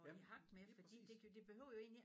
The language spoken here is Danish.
Ja lige præcis